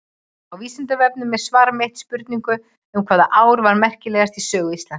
Á Vísindavefnum er svar mitt við spurningu um hvaða ár var merkilegast í sögu Íslands.